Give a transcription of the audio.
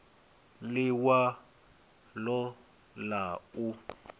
l i walo ḽa u